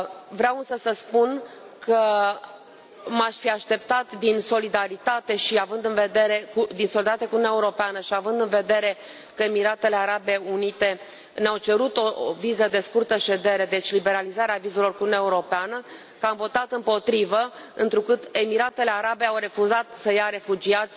Vreau însă să spun că m aș fi așteptat, din solidaritate cu Uniunea Europeană și având în vedere că Emiratele Arabe Unite ne au cerut o viză de scurtă ședere, deci liberalizarea vizelor cu Uniunea Europeană, să fi votat împotrivă, întrucât Emiratele Arabe Unite au refuzat să ia refugiați